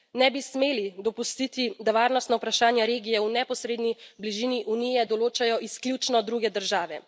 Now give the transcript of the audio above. Ne bi smeli dopustiti, da varnostna vprašanja regije v neposredni bližini Unije določajo izključno druge države.